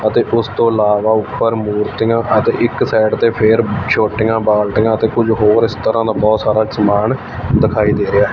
ਅਤੇ ਉੱਸ ਤੋਂ ਇਲਾਵਾ ਊਪਰ ਮੂਰਤੀਆਂ ਰੱਖੀਆਂ ਤੇ ਇੱਕ ਸਾਈਡ ਤੇ ਫੇਰ ਛੋਟੀਆਂ ਬਾਲਟੀਆਂ ਤੇ ਕੁਝ ਹੋਰ ਇਸ ਤਰਹਾਂ ਦਾ ਬੋਹੁਤ ਸਾਰਾ ਸਮਾਨ ਦਿਖਾਈ ਦੇ ਰਿਹਾ ਹੈ।